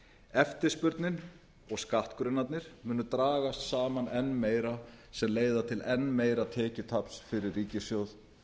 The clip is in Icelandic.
eftirspurnin og skattgrunnarnir munu dragast saman enn meira sem leiða til einn meira tekjutaps fyrir ríkissjóð